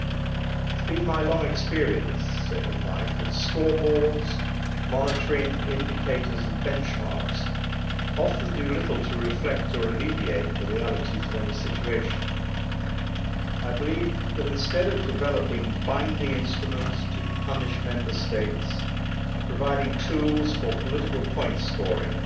It has been my long experience in life that scoreboards, monitoring indicators and benchmarks often do little to reflect or alleviate the realities of any situation. I believe that instead of developing binding instruments to punish Member States and providing tools for political point scoring,